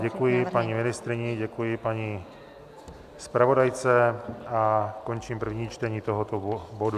Děkuji paní ministryni, děkuji paní zpravodajce a končím první čtení tohoto bodu.